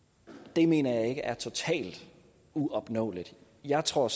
det mener jeg ikke er totalt uopnåeligt jeg tror